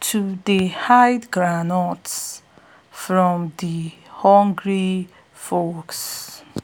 to dey hide groundnuts from de hungry fox